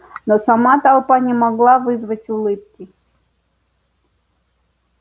но сама толпа не могла вызвать улыбки